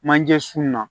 Manje sun na